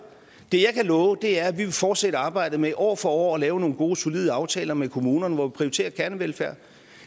det jeg kan love er at vi vil fortsætte arbejdet med år for år at lave nogle gode solide aftaler med kommunerne hvor vi prioriterer kernevelfærd